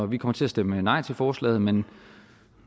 vi kommer til at stemme nej til forslaget men